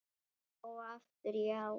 Já og aftur já.